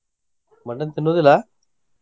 Mutton ತಿನ್ನೋದಿಲ್ಲ?